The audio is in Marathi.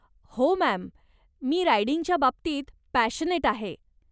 हो, मॅम, मी रायडिंगच्या बाबतीत पॅशनेट आहे .